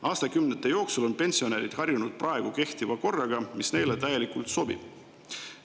Aastakümnete jooksul on pensionärid harjunud praegu kehtiva korraga, mis neile täielikult sobib.